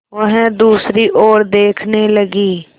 वह दूसरी ओर देखने लगी